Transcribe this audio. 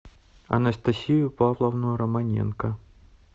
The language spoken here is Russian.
анастасию павловну романенко